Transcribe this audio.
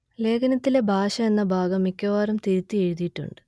ലേഖനത്തിലെ ഭാഷ എന്ന ഭാഗം മിക്കവാറും തിരുത്തി എഴുതിയിട്ടുണ്ട്